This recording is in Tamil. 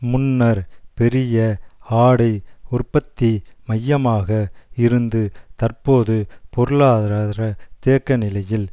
முன்னர் பெரிய ஆடை உற்பத்தி மையமாக இருந்து தற்போது பொருளாதார தேக்கநிலையில்